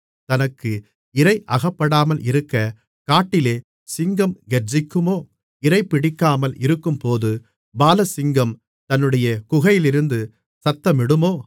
தனக்கு இரை அகப்படாமல் இருக்கக் காட்டிலே சிங்கம் கெர்ச்சிக்குமோ இரைபிடிக்காமல் இருக்கும்போது பாலசிங்கம் தன்னுடைய குகையிலிருந்து சத்தமிடுமோ